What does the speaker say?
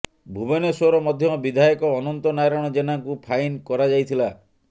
ଭୁବନେଶ୍ବର ମଧ୍ୟ ବିଧାୟକ ଅନନ୍ତ ନାରାୟଣ ଜେନାଙ୍କୁ ଫାଇନ କରାଯାଇଥିଲା